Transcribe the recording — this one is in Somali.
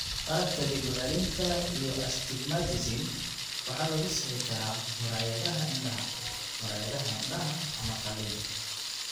Qaladka dib u celinta iyo astigmatism waxaa lagu sixi karaa muraayadaha indhaha, muraayadaha indhaha, ama qalliin.